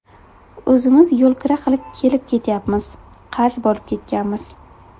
O‘zimiz yo‘lkira qilib kelib ketyapmiz, qarz bo‘lib ketganmiz.